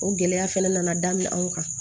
O gɛlɛya fɛnɛ nana daminɛ anw kan